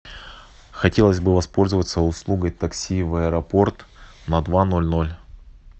хотелось бы воспользоваться услугой такси в аэропорт на два ноль ноль